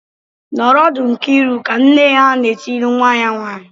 "Nọrọ ọdụ Nkiriuka!" Nne ha na-etiri nwa ya nwaanyị.